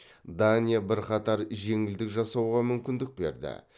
дания бірқатар жеңілдік жасауға мүмкіндік берді